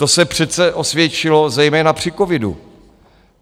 To se přece osvědčilo zejména při covidu.